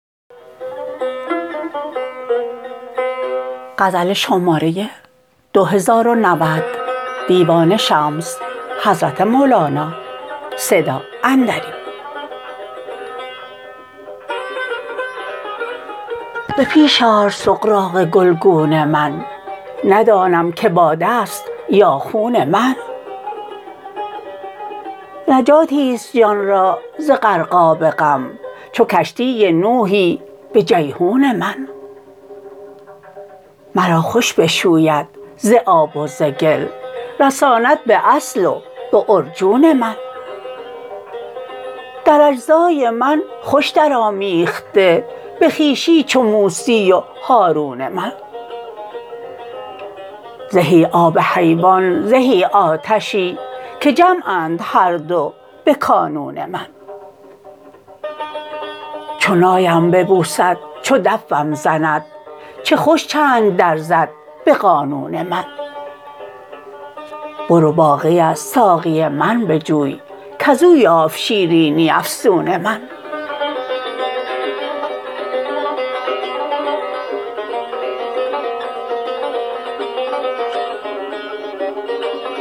به پیش آر سغراق گلگون من ندانم که باده ست یا خون من نجاتی است جان را ز غرقاب غم چو کشتی نوحی به جیحون من مرا خوش بشوید ز آب و ز گل رساند به اصل و به عرجون من در اجزای من خوش درآمیخته به خویشی چو موسی و هارون من زهی آب حیوان زهی آتشی که جمعند هر دو به کانون من چو نایم ببوسد چو دفم زند چه خوش چنگ درزد به قانون من برو باقی از ساقی من بجوی کز او یافت شیرینی افسون من